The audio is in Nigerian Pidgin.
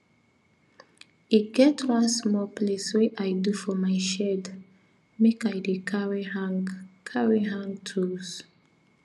e get one small place wey i do for my shed make i dey carry hang carry hang tools